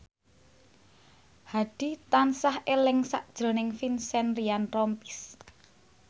Hadi tansah eling sakjroning Vincent Ryan Rompies